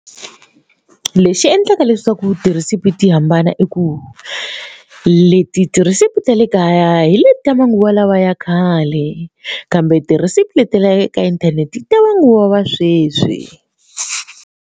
Lexi endlaka leswaku tirhesipi ti hambana i ku leti tirhisipi ta le kaya hi le ta manguva lawa ya khale kambe ti-recipe leti ta le ka inthanete ta manguva ya sweswi.